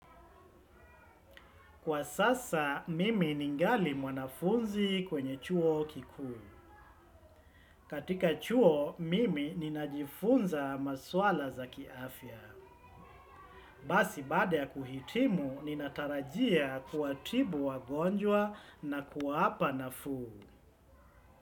Kwa sasa, mimi ningali mwanafunzi kwenye chuo kikuu. Katika chuo, mimi ninajifunza maswala za kiafya. Basi baada ya kuhitimu, ninatarajia kuwatibu wagonjwa na kuwapa nafuu.